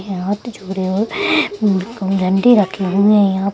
यहाँ डंडी रखे हुए है यहाँ।